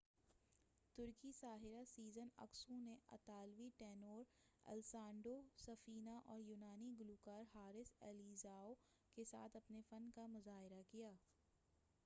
ترکی ساحرہ Sezen Aksu نے اطالوی ٹینور الیسانڈرو سفینہ اور یونانی گلوکار حارث الیزیاؤ کے ساتھ اپنے فن کا مُظاہرہ کیا